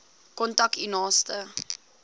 kontak u naaste